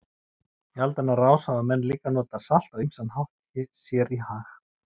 Í aldanna rás hafa menn líka notað salt á ýmsan hátt sér í hag.